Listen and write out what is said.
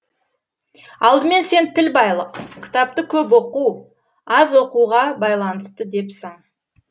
алдымен сен тіл байлық кітапты көп оқу аз оқуға байланысты депсің